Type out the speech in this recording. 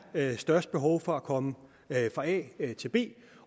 er størst behov for at komme fra a til b